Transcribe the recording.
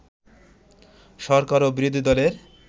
সরকার এবং বিরোধী দলের